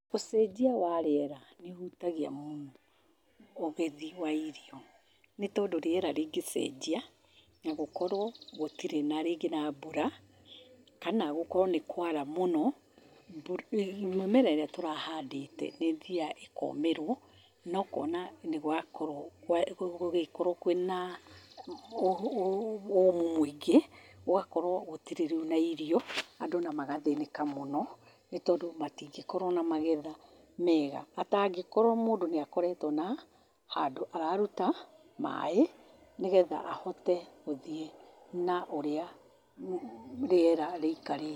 Ũcenjia wa rĩera nĩ ũhutagia mũno ũgethi wa irio, nĩ tondũ rĩera rĩngĩcenjia, na gũkorwo gũtirĩ na rĩngĩ na mbura, kana gũkorwo nĩ kwara mũno, mĩmera ĩrĩa tũrahandĩte, ĩthiaga ĩkomĩrwo, na ũkona nĩ gwakorwo, gũgĩkorwo kwĩna ũmũ mũingĩ, gũgakorwo gũtirĩ rĩu na irio, andũ na magathĩnĩka mũno, nĩ tondũ matingĩkorwo na magetha mega, atangĩkorwo mũndũ nĩ akoretwo na handũ araruta maĩ, nĩgetha ahote gũthiĩ na ũrĩa rĩera rĩikarĩte.